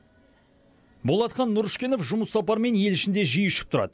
болатхан нұрышкенов жұмыс сапарымен ел ішінде жиі ұшып тұрады